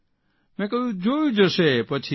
મેં કહ્યું જોયું જશે પછી